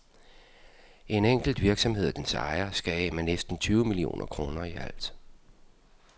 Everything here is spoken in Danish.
En enkelt virksomhed og dens ejer skal af med næsten tyve millioner kroner i alt.